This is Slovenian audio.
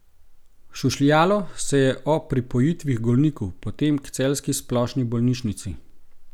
Šušljalo se je o pripojitvi h Golniku, potem k celjski splošni bolnišnici.